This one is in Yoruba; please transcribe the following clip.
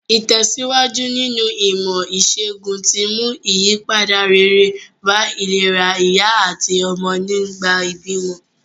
Ìtèsíwájú nínu ìmò ìsègùn ti mú ìyípadà rere bá ìlera ìyá àtí ọmọ nìgbà ìbímọ